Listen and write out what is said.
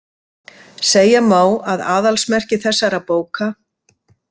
Segja má að aðalsmerki þessara bóka.